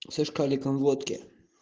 со шкаликом водки